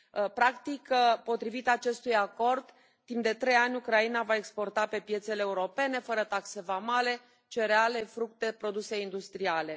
Practic, potrivit acestui acord, timp de trei ani Ucraina va exporta pe piețele europene, fără taxe vamale, cereale, fructe, produse industriale.